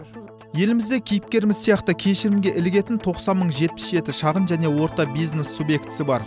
елімізде кейіпкеріміз сияқты кешірімге ілігетін тоқсан мың жетпіс жеті шағын және орта бизнес субъектісі бар